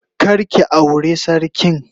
Kar ki aure sarkin.